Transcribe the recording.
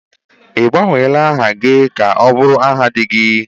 Ị gbanweela aha gị ka ọ bụrụ aha di gị?